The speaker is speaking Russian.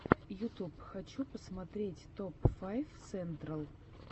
ютуб хочу посмотреть топ файв сентрал